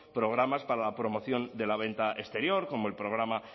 programas para la promoción de la venta exterior como el programa